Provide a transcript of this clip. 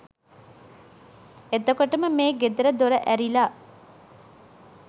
එතකොටම මේ ගෙදර දොර ඇරිලා